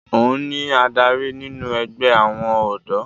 òun ni adarí nínú ẹgbẹ́ àwọn ọ̀dọ́